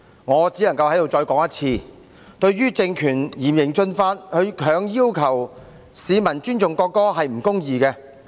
我只能夠在此重申，政權利用嚴刑峻法，強行要求市民尊重國歌是不公義的。